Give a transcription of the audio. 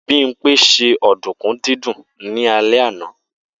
Bimpe ṣe ọ̀dùnkún dídún ní alẹ́ àná.